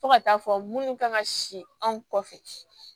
Fo ka taa fɔ minnu kan ka si anw kɔfɛ